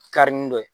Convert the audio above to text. Kari ni dɔ ye